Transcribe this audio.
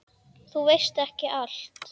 Þú veist ekki allt.